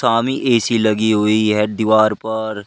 AC लगी हुई है दीवार पर।